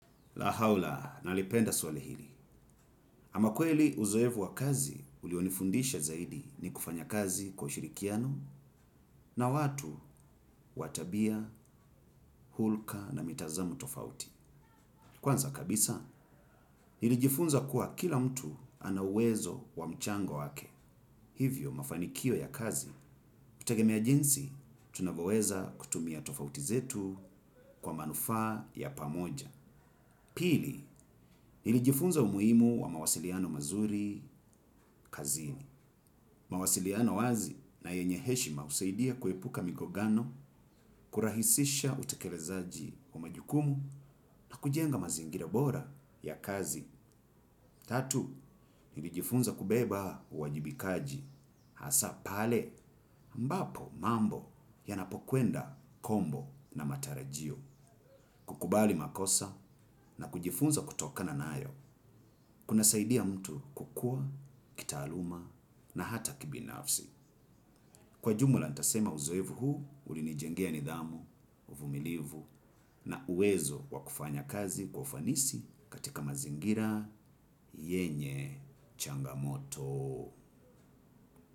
Lahaula, nalipenda swali hili. Ama kweli uzoefu wa kazi, ulionifundisha zaidi ni kufanya kazi kwa ushirikiano na watu wa tabia, hulka na mitazamo tofauti. Kwanza kabisa, nilijifunza kuwa kila mtu ana uwezo wa mchango wake. Hivyo mafanikio ya kazi, hutegemea jinsi, tunavyoweza kutumia tofauti zetu kwa manufaa ya pamoja. Pili, nilijifunza umuhimu wa mawasiliano mazuri kazini. Mawasiliano wazi na yenye heshima husaidia kuepuka migongano, kurahisisha utekelezaji wa majukumu na kujenga mazingira bora ya kazi. Tatu, nilijifunza kubeba uwajibikaji. Hasa pale, mbapo mambo yanapokwenda kombo na matarajio. Kukubali makosa na kujifunza kutokana nayo. Kuna saidia mtu kukua, kitaaluma na hata ki binafsi. Kwa jumla, ntasema uzoevu huu, ulinijengea nidhamu, uvumilivu na uwezo wakufanya kazi kwa ufanisi katika mazingira yenye changamoto.